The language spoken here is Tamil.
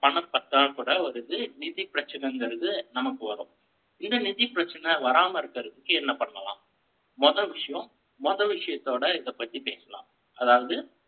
பணம் பற்றாக்குறை வருது. நிதிப் பிரச்சனைங்கிறது, நமக்கு வரும் இந்த நிதி பிரச்சனை வராம இருக்கறதுக்கு, என்ன பண்ணலாம்? முதல் விஷயம், முதல் விஷயத்தோட, இதைப்பத்தி பேசலாம். அதாவது